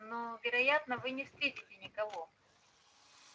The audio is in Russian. но вероятно вы не встретите никого